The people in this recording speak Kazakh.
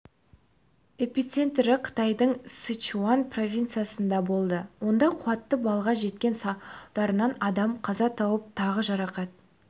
эпицентрі қытайдың сычуань провинциясында болды онда қуаты балға жеткен салдарынан адам қаза тауып тағы жарақат